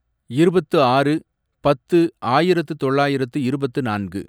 இருபத்து ஆறு , பத்து , ஆயிரத்து தொள்ளாயிரத்து இருபத்து நான்கு